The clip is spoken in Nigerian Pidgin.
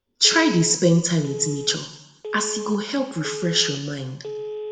try dey spend time wit nature as e as e go help refresh yur mind